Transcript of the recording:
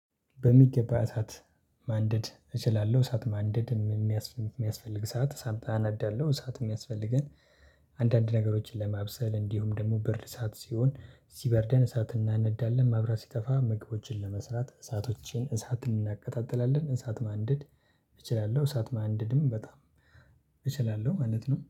በሚገባ እሳት ማንደድ እችላለሁ። እሳት ማንደድ የሚያስፈልግ ሰዓት ሳንታ አናዳለሁ እሳት የሚያስፈልገን። አንዳንድ ነገሮችን ለማብሰል እንዲሁም ደግሞ ብርድ ሰዓት ሲሆን ሲበርደን እሳት እናነዳለን። ማብራት ሲጠፋ ምግቦችን ለመስራት እሳቶችን እሳትን እናቀጣጥላለን። እሳት ማንደድ እችላለሁ እሳት ማንደድም በጣም እችላለሁ ማለት ነው